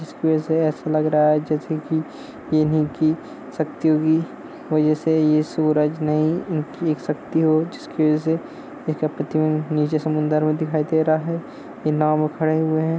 इसकी वजह से ऐसा लग रहा है जैसे कि इन्ही की शक्तियों की वजह से ये सूरज नही इनकी एक शक्ति हो जिसकी वजह से इनका प्रतिबिम्ब नीचे समुन्द्र मे दिखाई दे रहा है। ये नाँव पे खड़े हुए हैं।